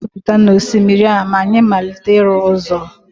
anyị ga-ejupụta n'osimiri a ma anyị malite ịrụ ụzọ